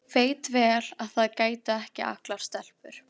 Veit vel að það gætu ekki allar stelpur.